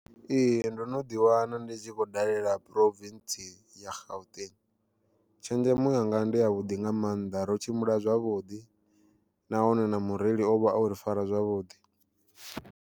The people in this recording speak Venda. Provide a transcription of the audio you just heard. Ee ndo no ḓi wana ndi tshi khou dalela Province ya Gauteng, tshenzhemo yanga ndi ya vhuḓi nga maanḓa ro tshimbila zwavhuḓi nahone na mureli ovha ori fara zwavhuḓi.